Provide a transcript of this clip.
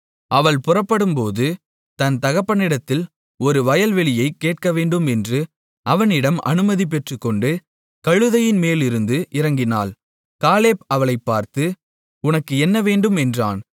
அவள் புறப்படும்போது என் தகப்பனிடத்தில் ஒரு வயல்வெளியைக் கேட்கவேண்டும் என்று அவனிடம் அனுமதி பெற்றுக்கொண்டு கழுதையின்மேலிருந்து இறங்கினாள் காலேப் அவளைப் பார்த்து உனக்கு என்னவேண்டும் என்றான்